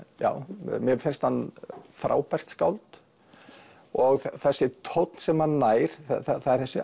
mér finnst hann frábært skáld og þessi tónn sem hann nær það er þessi